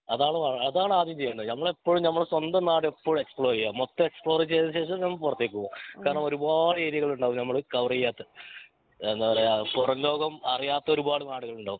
അതാണ് അതാണ് ആദ്യം ചെയ്യണ്ടേ ഞമ്മളെപ്പോഴും ഞമ്മളെ സ്വന്തം നാട് ഇപ്പോഴും എക്‌സ്‌പ്ലോർ ചെയ്യേ മൊത്തം എക്‌സ്‌പ്ലോർ ചെയ്ത ശേഷം ഞമ്മള് പൊറത്തേക് പോവേ കാരണം ഒരുപാട് ഏരിയകൾ ഉണ്ടാവും ഞമ്മള് കവർ ചെയ്യാത്തെ എന്താ പറയാ പൊറം ലോകം അറിയാത്ത ഒരുപാട് നാടുകളുണ്ടാവും